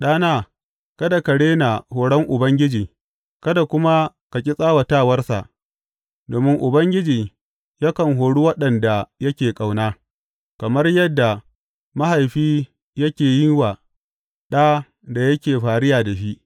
Ɗana, kada ka rena horon Ubangiji kada kuma ka ƙi tsawatawarsa, domin Ubangiji yakan hori waɗanda yake ƙauna, kamar yadda mahaifi yake yin wa ɗa da yake fariya da shi.